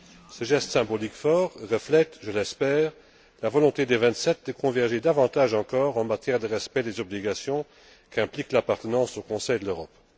Ce geste symbolique fort reflète, je l'espère, la volonté des Vingt sept de converger davantage encore en matière de respect des obligations qu'implique l'appartenance au Conseil de l'Europe.